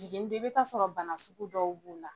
Jiginni don i bɛ taa sɔrɔ bana sugu dɔw b'o la.